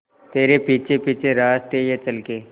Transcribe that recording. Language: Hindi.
तेरे पीछे पीछे रास्ते ये चल के